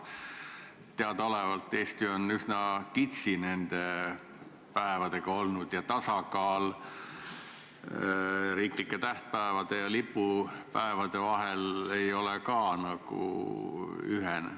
Teadaolevalt on Eesti üsna kitsi nende päevadega olnud ja tasakaal riiklike tähtpäevade ja lipupäevade vahel ei ole ka ühene.